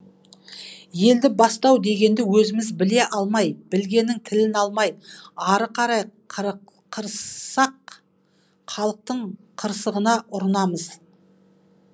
елді бастау дегенді өзіміз біле алмай білгеннің тілін алмай ары қарай қырыссақ халықтың қырсығына ұрынамыз